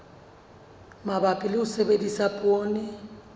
mabapi le ho sebedisa poone